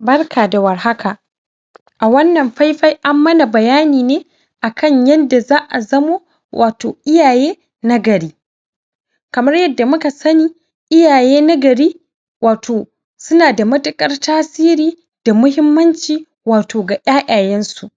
Barka da warhaka a wannan faifai an man bayani ne akan yanda za a zamo wato iyaye nagari kamar yanda muka sani iyaye nagari wato suna da matuƙar tasiri da mahimmanci wato ga ƴaƴayansu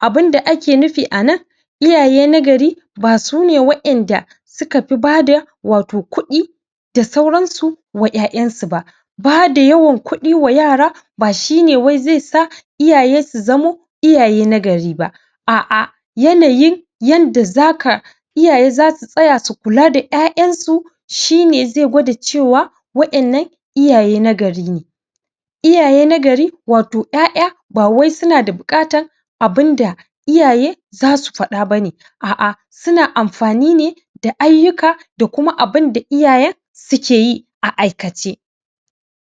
abinda kae nufi a nan iyaye na gari basune wa'inda sukafi bada wato kuɗi da sauransu wa ƴaƴansu ba bada yawan kuɗi wa yara ba shine wai zai sa iyaye su zamo iyaye nagari ba a'a yanayin yanda zaka iyaye zasu tsaya su kula da ƴaƴansu shine zai gwada cewa wa'innan iyaye nagari ne iyaye nagari wato ƴaƴa ba wai suna da buƙatan abunda iyaye za su faɗa ba ne a'a suna amfani ne da ayyuka da kuma abinda iyayen suke yi a aikace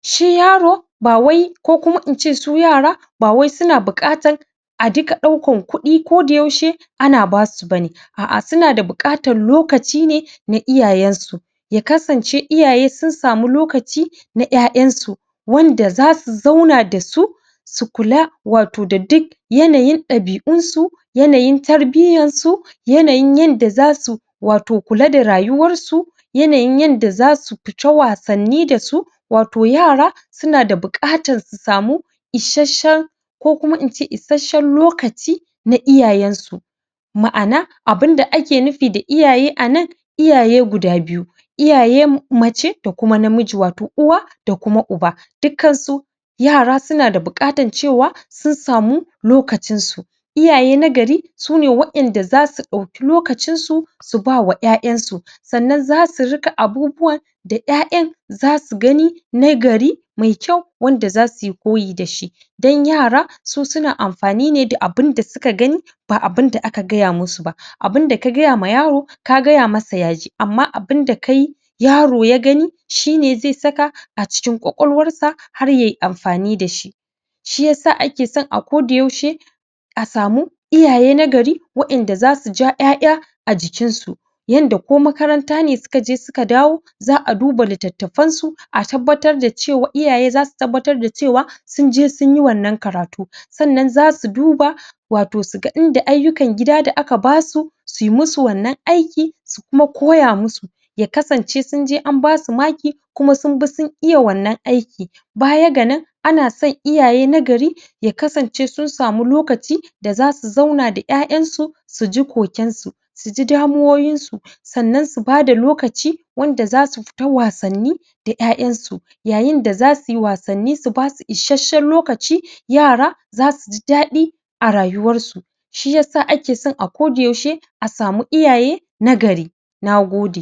shi yaro ba wai ko kuma in ce su yara ba wai suna buƙatan a diga ɗaukan kuɗi koyaushe ana basu ba ne a'a suna buƙatan loaci ne na iyayensu ya kasance iyaye sun samu lokaci na ƴaƴansu wanda za su zauna da su su kula wato da duk yanayin ɗabi'unsu yanayi tarbiyyansu yanayin yanda za su wato kula da rayuwarsu yanayin yanda za su su ta wasanni da su wato yara suna da buƙatan su samu isasshen ko kuma in ce isasshen lokaci na iyayensu ma'ana abunda ake nufi da iaye a nan iyaye guda biyu iyaye mace da kuma namiji wato uwa da kuma uba dukkansu yara suna da buƙatan cewa sun samu lokacinsu iyaye nagari sune wa'inda za su ɗauki lokacinsu su bawa ƴaƴansu sannan z asu rika abubuwan da ƴaƴan za su gani nagari mai kyau wanda za su yi koyi da shi dan yara su suna amfani ne da abinda suka gani ba abinda aka gaya musu ba abinda ka gaya wa yaro ka gaya masa ya ji amma abinda ka yi yaro ya gani shine zai saka a cikin ƙwaƙwalwarsa har yayi amfani da shi shiyasa ake son a koda-yaushe a samu iyaye na gari a'inda za su ja ƴaƴa a jikinsu yanda ko makarantane sukaje suka dawo za'a duba littattafansu a tabbatar da cewa iyaye za su tabbatar da cewa sun je sun yi wannan karatu sannan za su duba wato su ga in da ayyukan gida da aka basu su yi musu wannan aiki su kuma koya musu ya kasance sun je an basu maki kuma sun bi sun iya wannan aiki baya ga nan ana san iyaye nagari ya kasance sun samu lokaci da zasu zauna da ƴaƴansu su ji kokensu su ji damuwowinsu sannan su bada lokaci wanda za su fita wasanni da ƴaƴansu yayinda za suyi wasanni su basu isasshen lokaci yara za su ji daɗi a rayuwarsu shiyasa ake son a koda-yaushe a samu iyaye nagari nagode